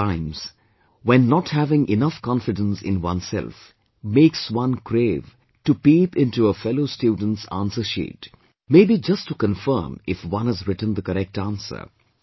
There are times when not having enough confidence in oneself makes one crave to peep into a fellow student's answer sheet, may be just to confirm if one has written the correct answer